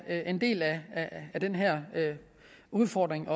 er en del af den her udfordring